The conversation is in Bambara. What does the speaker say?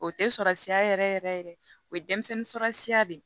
O tɛ surasiya yɛrɛ yɛrɛ o ye denmisɛnnin surasiya de